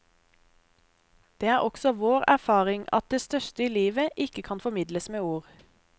Det er også vår erfaring at det største i livet ikke kan formidles med ord.